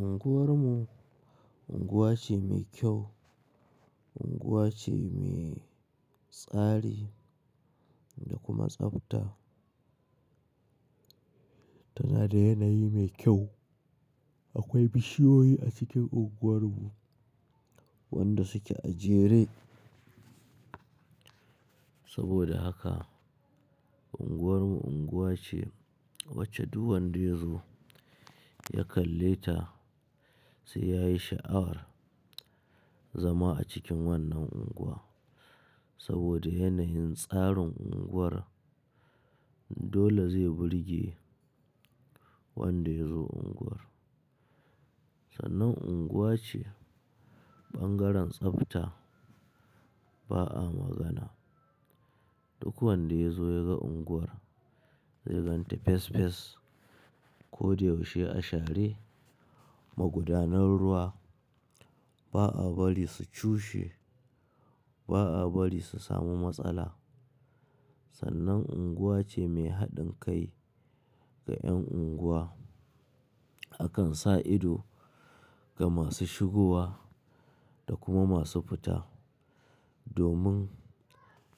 Unguwar mu unguwa ce mai kyau, unguwa ce mai tsari da kuma tsafta. Tana da yanayi mai kyau. Akwai bishiyoyi a cikin unguwar mu wanda suke a jere. Saboda haka unguwar mu unguwa ce wacce duk wanda ya zo ya kalle ta sai yayi sha'awar zama a cikin wannan unguwa. Saboda yanayin tsarin unguwar, dole zai burge wanda ya zo unguwar. Sannan unguwa ce bangaren tsafta ba'a magana. Duk wanda ya zo ya ga unguwar zai gan tafesafes, ko da yaushe a share, magudanar ruwa ba'a bari su cushe, ba'a bari su samu matsala. Sannan unguwa ce mai haɗin kai ga 'yan unguwa. Akan sa ido ga masu shigowa da kuma masu fita domin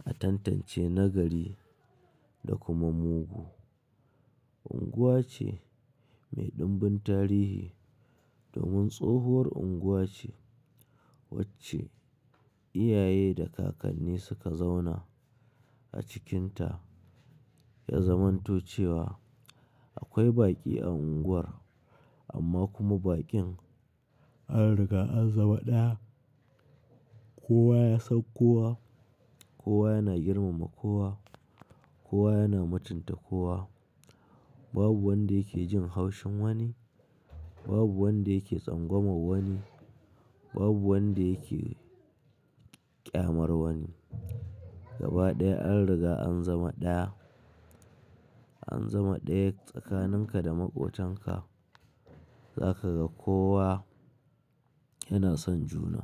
a tantance nagari da kuma mugu. Unguwa ce mai dumbin tarihi domin tsohuwar unguwa ce wacce iyaye da kakanni suka zauna a cikinta. Ya zamanto cewa akwai baƙi a unguwar amma kuma baƙin an riga an zama ɗaya. Kowa ya san kowa, kowa yana girmama kowa, kowa yana mutunta kowa. Babu wanda yake jin haushin wani, babu wanda yake tsangwama wani, babu wanda yake ƙyamar wani. Gaba ɗaya an riga an zama ɗaya. An zama ɗaya tsakanin ka da maƙotanka. Za ka ga kowa yana son juna.